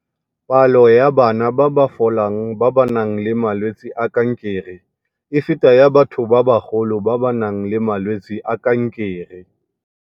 Palo ya bana ba ba folang ba ba nang le malwetse a kankere e feta ya batho ba bagolo ba ba nang le malwetse a kankere.